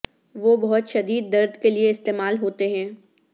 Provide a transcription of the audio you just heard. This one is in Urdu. وہ بہت شدید درد کے لئے استعمال ہوتے ہیں